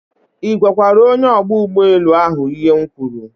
I gwakwara onye ogba ugboelu ahu ihe m kwuru